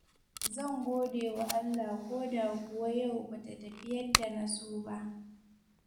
Zan gode wa Allah koda kuwa yau ba ta tafi yadda na so ba.